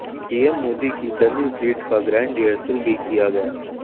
PM Modi की dummy fleet का grand rehearsal भी किया गया